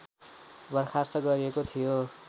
बर्खास्त गरिएको थियो